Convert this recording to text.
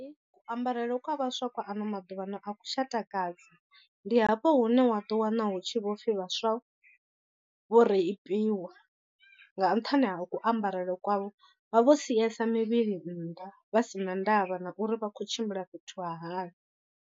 Kuambarele kwa vhaswa kwa ano maḓuvha ano aku tsha takadza, ndi hafho hune wa ḓo wana hu tshi vho pfhi vhaswa vho reipiwa nga nṱhani ha kuambarele kwavho vha vho siesa mivhili nnḓa vha si na ndavha na uri vha khou tshimbila fhethu ha hani.